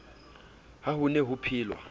ha ho ne ho phelwa